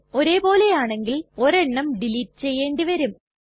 ഒരേ പോലെയാണെങ്കിൽ ഒരെണ്ണം ഡിലീറ്റ് ചെയ്യേണ്ടി വരും